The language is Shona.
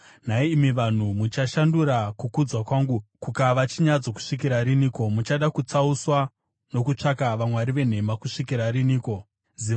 Nhai imi vanhu, muchashandura kukudzwa kwangu kukava chinyadziso kusvikira riniko? Muchada kutsauswa nokutsvaka vamwari venhema kusvikira riniko? Sera